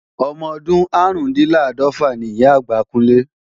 Ọmọdún árùndinláàdọ́fà ni Ìyá-àgbà Kúnlé